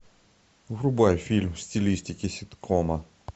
врубай фильм в стилистике ситкома